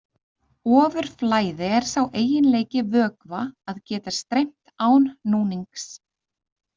Ofurflæði er sá eiginleiki vökva að geta streymt án núnings.